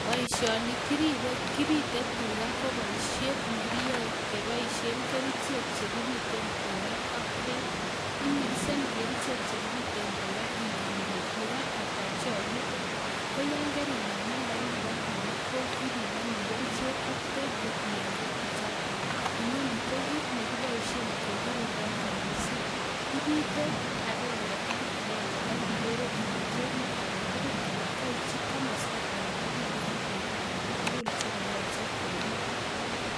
Boishoni kipite tugaa KO boishiet nekiyoe keboishien kerichek chekibiten tugaa ak beek, kimikseni kerichek chekibiiten tugaa ak ingen Ile tugaa ata cheibite. Koyaan karinai nambait nebo tugaa koipimoni kerichek ak beek kotienge tuchaatok. Inoni ko kit nekiboishien kegirindoo kerbesiik, ibite agenge en agenge ak ikeere Ile keebit agetugul anan koityii komostoo agetugul en teta agetugul nekoyoche kebiit